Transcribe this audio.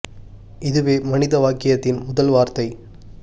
இதுவே மனித வாக்கியத்தின் முதல் வார்த்தை